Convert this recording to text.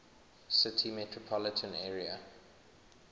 city metropolitan area